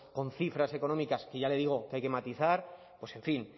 con cifras económicas que ya le digo que hay que matizar pues en fin